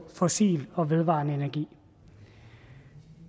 fossil og vedvarende energi